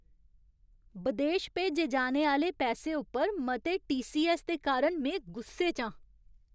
बदेश भेजे जाने आह्‌ले पैसे उप्पर मते टी. सी. ऐस्स. दे कारण में गुस्से च आं।